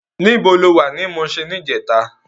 Nibó ló wá ni Mushin nijètá?